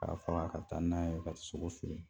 K'a faga ka taa n'a ye k'a sogo feere.